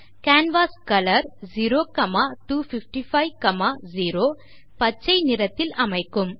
canvas colour 02550 canvas ஐ பச்சை நிறத்தில் அமைக்கும்